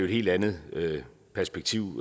helt andet perspektiv